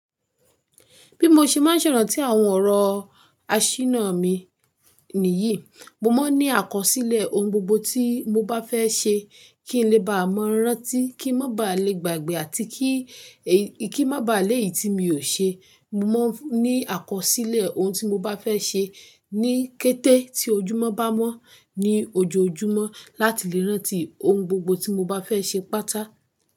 Bí mo ṣe máa ń ṣerántí àwọn ọ̀rọ̀ àṣìná mi níyì, mo máa ń ní àkọsílẹ̀ ohun gbogbo tí mo bá fẹ́ ṣe kí n lè bá mọ rántí, kí n má ba à le gbàgbẹ́ àti kí n má ba à léèyí tí mi ò ṣe. Mo máa ń ní àkọsílẹ̀ ohun tí mo bá fẹ́ ṣe ní kété tí ojúmọ́ bá mọ́ ní ojoojúmọ́ láti lè rántí ohun gbogbo tí mo bá fẹ́ ṣe pátá.